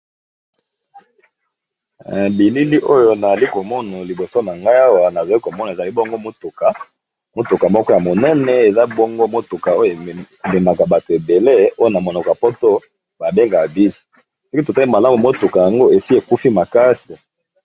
Bilili oyo nazali komono liboso na ngai awa nazali komona ezali bongo motuka, motuka moko ya monene eza bongo motuka oyo emimaka bato ebele oy na monoka poto babengaka 10 soki totali malamu motuka yango esi ekufi makasi.